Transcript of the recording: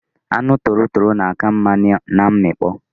Anu torotoro na aka nma na nmikpo